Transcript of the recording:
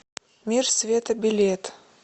мир света билет